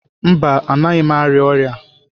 Mba, anaghị m arịa ọrịa.